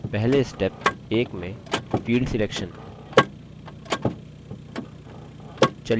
पहले step 1 में field selection चलिए table: members चुनते हैं